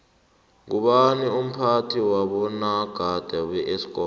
ngubani umphathi wabonagada beesikomu